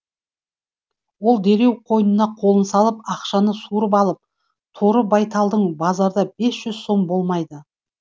ол дереу қойнына қолын салып ақшаны суырып алып торы байталың базарда бес жүз сом болмайды